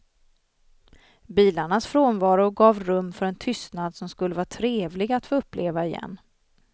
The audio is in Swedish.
Bilarnas frånvaro gav rum för en tystnad som skulle vara trevlig att få uppleva igen.